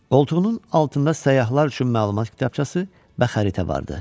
Qoltuğunun altında səyyahlar üçün məlumat kitabçası və xəritə vardı.